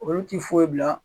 Olu ti foyi bila